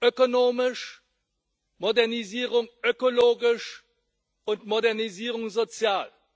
ökonomisch, Modernisierung ökologisch und Modernisierung sozial.